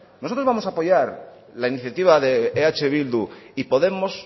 nosotros vamos apoyar la iniciativa de eh bildu y podemos